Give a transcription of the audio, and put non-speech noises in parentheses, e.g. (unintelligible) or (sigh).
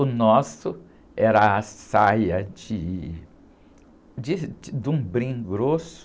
O nosso era a saia de, (unintelligible) de um brim grosso,